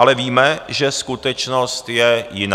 Ale víme, že skutečnost je jiná.